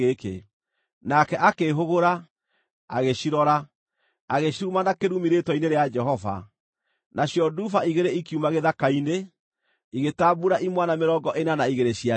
Nake akĩĩhũgũra, agĩcirora, agĩciruma na kĩrumi rĩĩtwa-inĩ rĩa Jehova. Nacio nduba igĩrĩ ikiuma gĩthaka-inĩ, igĩtambuura imwana mĩrongo ĩna na igĩrĩ ciacio.